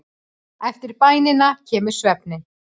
Eftir bænina kemur svefninn.